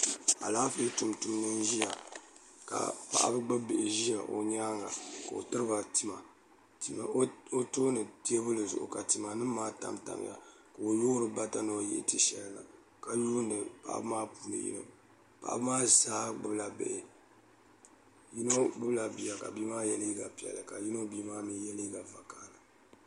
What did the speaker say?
Alaafee tumtumdi n ʒiya ka paɣaba gbubi bihi ʒi o nyaanga n tiri ba tima o tooni teebuli zuɣu ka tima maa tamtamya ka o yoori bata ni o yihi ti shɛli na ka yuundi paɣaba maa puuni yino paɣaba maa zaa gbubila bihi yino gbubila bia ka bia maa yɛ liiga piɛlli ka yino bia maa mii yɛ liiga vakaɣali